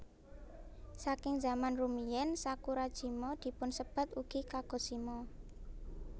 Saking zaman rumiyin Sakurajima dipunsebat ugi Kagoshima